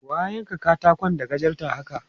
Wa ya yanka katakon da gajarta haka?